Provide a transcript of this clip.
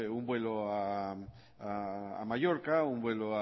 un vuelo a mallorca un vuelo